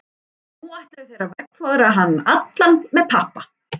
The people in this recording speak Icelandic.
Og nú ætluðu þeir að veggfóðra hann allan með pappa.